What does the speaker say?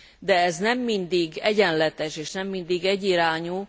De ez nem mindig egyenletes, és nem mindig egyirányú.